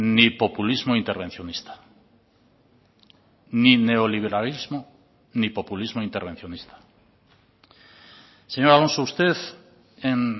ni populismo intervencionista ni neoliberalismo ni populismo intervencionista señor alonso usted en